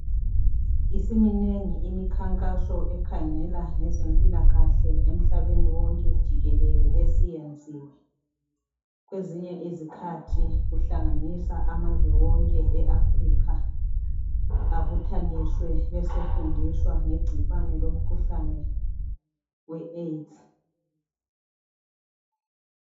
Isiminengi imikhankaso ekhangela ngezempilakahle emhlabeni wonke jikelele esiyenziwe. Kwezinye izikhathi kuhlanganisa amazwe wonke eAfrica abuthaniswe besefundiswa ngegcikwane lomkhuhlane leAids.